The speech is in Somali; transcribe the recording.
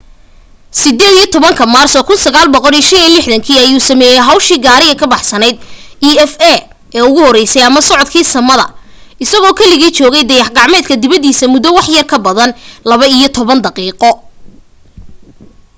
18 maarso 1965 ayuu sameeyay hawshii gaariga ka baxsanayd eva ee ugu horeysay ama socodka samada isagoo keligii joogay dayax gacmeedka dibadiisa muddo waxyar ka badan laba iyo toban daqiiqo